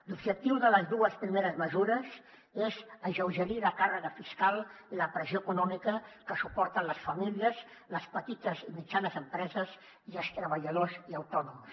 l’objectiu de les dues primeres mesures és alleugerir la càrrega fiscal i la pressió econòmica que suporten les famílies les petites i mitjanes empreses i els treballadors i autònoms